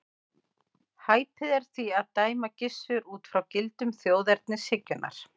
Hæpið er því að dæma Gissur út frá gildum þjóðernishyggjunnar.